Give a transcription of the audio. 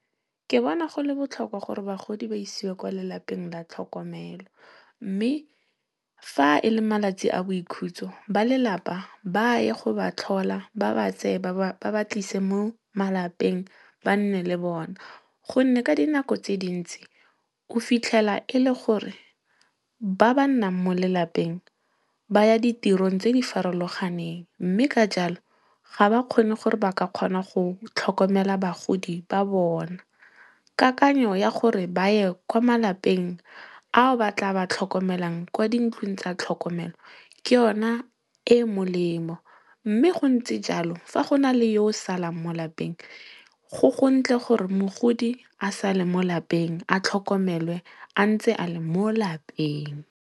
Ke bona go le botlhokwa gore bagodi ba isiwe kwa lelapeng la tlhokomelo. Mme, fa e le malatsi a boikhutso, ba lelapa ba ye go ba tlhola ba ba tseye ba ba tlise mo malapeng ba nne le bone. Gonne ka dinako tse dintsi, o fitlhela e le gore ba ba nnang mo lelapeng, ba ya ditirong tse di farologaneng. Mme ka jalo, ga ba kgone gore ba ka kgona go tlhokomela bagodi ba bona. Kakanyo ya gore ba ye kwa malapeng ao ba tla ba tlhokomelang kwa dintlong tsa tlhokomelo, ke yona e e molemo. Mme go ntse jalo, fa go na le yo o salang mo lapeng, go gontle gore mogodi a sale mo lapeng a tlhokomelwe a ntse a le mo lapeng.